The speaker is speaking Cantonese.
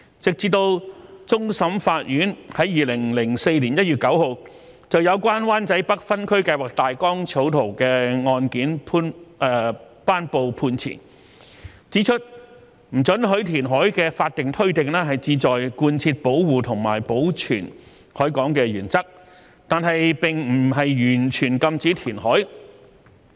直至終審法院在2004年1月9日，就有關灣仔北分區計劃大綱草圖的案件頒布判詞，指出不准許填海的法定推定，旨在貫徹保護和保存海港的原則，但並不完全禁止填海。